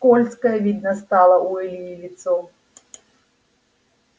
скользкое видно стало у ильи лицо